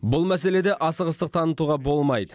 бұл мәселеде асығыстық танытуға болмайды